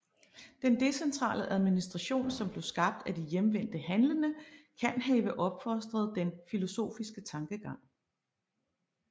Den decentrale administration som blev skabt af de hjemvendte handlende kan have opfostret den filosofiske tankegang